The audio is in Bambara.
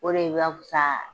O de b'a fisaya